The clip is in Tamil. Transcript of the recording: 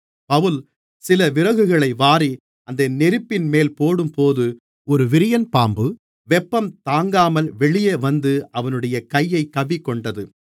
பவுல் சில விறகுகளை வாரி அந்த நெருப்பின்மேல் போடும்போது ஒரு விரியன்பாம்பு வெப்பம் தாங்காமல் வெளியே வந்து அவனுடைய கையைக் கவ்விக்கொண்டது